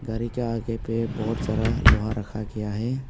गाड़ी के आगे पे बहुत सारा लोहा रखा गया है।